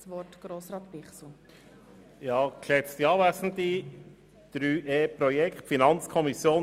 Insbesondere sind auch dezentrale effiziente Standorte bei der Digitalisierung zu berücksichtigen.